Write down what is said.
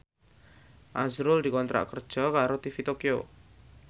azrul dikontrak kerja karo TV Tokyo